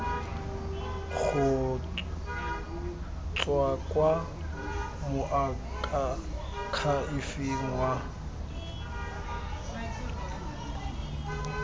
go tswa kwa moakhaefeng wa